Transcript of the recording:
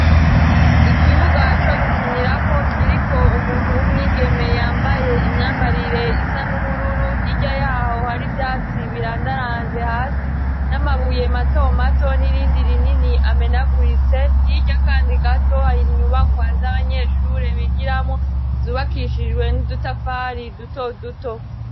Ikibuga co gukinirako kiriko umuntu w'umwigemee yambaye imyambarire isa n'ubururu, hirya y'aho hari ivyatsi birandaranze hasi n'amabuye matomato n'irindi rinini amenaguritse, hirya kandi gato hari inyubakwa z'abanyeshure bigiramwo zubakishijwe n'udutafari dutoduto.